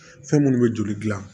Fɛn minnu bɛ joli dilan